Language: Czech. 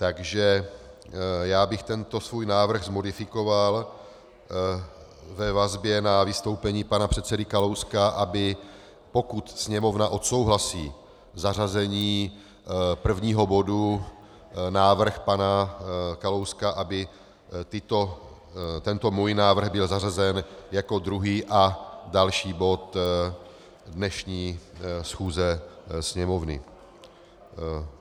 Takže já bych tento svůj návrh modifikoval ve vazbě na vystoupení pana předsedy Kalouska, aby pokud Sněmovna odsouhlasí zařazení prvního bodu návrh pana Kalouska, aby tento můj návrh byl zařazen jako druhý a další bod dnešní schůze Sněmovny.